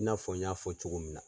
I n'a fɔ n y'a fɔ cogo min na.